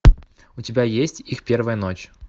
у тебя есть их первая ночь